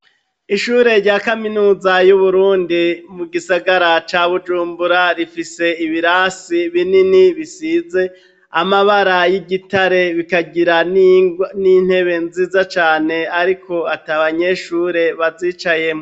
Ishure rya kaminuza y’uburundi mugisagara ca Bujumbura, rifise ibirasi binini bisize amabara y'igitare, bikagira n'intebe nziza Cane ariko at'abanyeshure bazicayemwo.